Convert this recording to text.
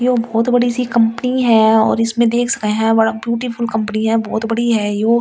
यो बहुत बड़ी सी कंपनी है और इसमें देख सकै हैं बड़ा ब्यूटीफुल कंपनी है बहुत बड़ी है यो और इस।